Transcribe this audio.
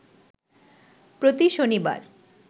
প্রতি শনিবার